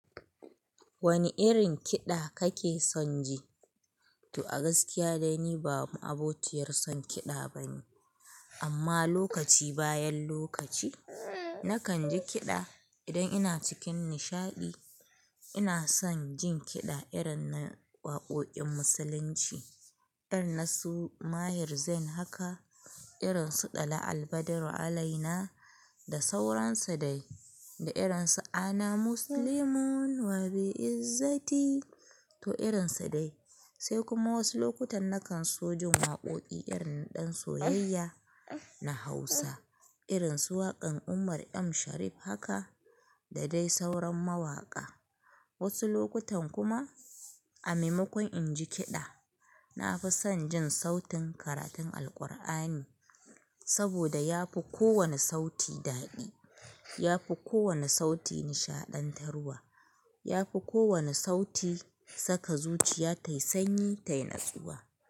Wane irin kiɗa kake son ji? To a gaskiya dai ni ba mabociyar son kiɗa bane. Amma lokaci bayan lokaci, nakan ji kiɗa idan ina cikin nishaɗi. Ina son jin kiɗa irin na waƙoƙin musulunci, irin na Su mahir Zain haka, irin su ɗala albader alaina da sauransa dai, da irin su ana muslimun wabi izzati to irin su dai. Sai kuma wasu lokutan nakan so jin waƙoƙi irin na ɗan soyayya na Hausa, irin su waƙan Umar M Sharif haka da dai sauran mawaƙa. Wasu lokutan kuma a maimakon in ji kiɗa, na fi son jin sautin karatun Alqur'ani saboda yafi kowane sauti daɗi, yafi kowane sauti nishaɗantarwa, yafi kowane sauti saka zuciya tayi sanyi tayi natsuwa.